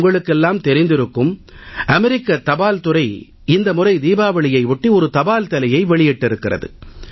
உங்களுக்கெல்லாம் தெரிந்திருக்கும் அமெரிக்க தபால் துறை இந்த முறை தீபாவளியையொட்டி தபால் தலை ஒன்றை வெளியிட்டிருக்கிறது